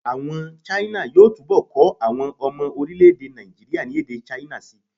Àwọn China yóò túbọ̀ kọ́ àwọn ọmọ orílẹ̀-èdè Nàìjííríà ní èdè China síi